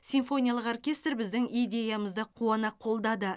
симфониялық оркестр біздің идеямызды қуана қолдады